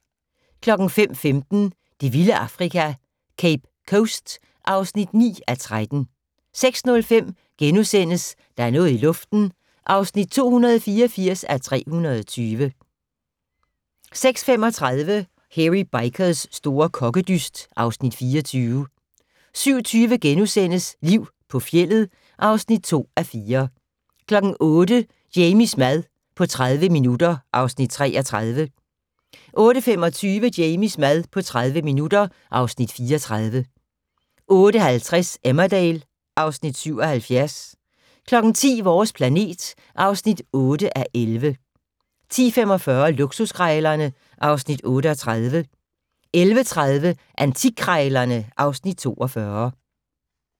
05:15: Det vilde Afrika - Cape Coast (9:13) 06:05: Der er noget i luften (284:320)* 06:35: Hairy Bikers' store kokkedyst (Afs. 24) 07:20: Liv på fjeldet (2:4)* 08:00: Jamies mad på 30 minutter (Afs. 33) 08:25: Jamies mad på 30 minutter (Afs. 34) 08:50: Emmerdale (Afs. 77) 10:00: Vores planet (8:11) 10:45: Luksuskrejlerne (Afs. 38) 11:30: Antikkrejlerne (Afs. 42)